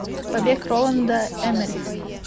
побег роланда эммериха